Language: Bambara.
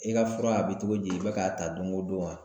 I ka fura a bɛ cogo di i bɛ k'a ta don o don wa?